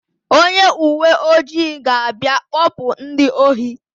Onye uwe ojii ga-abịa kpọpụ ndị ohi.